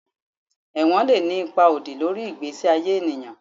Ewon le ni ipa odi lori igbesi aye eniyan